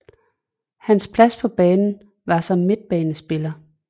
Hans plads på banen var som midtbanespiller